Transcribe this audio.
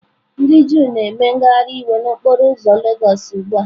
Ndị Juu na-eme ngagharị iwe n'okporo ụzọ lagos ugbu a.